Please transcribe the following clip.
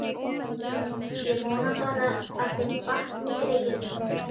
Ég vona bara að þeim batni, greyjunum.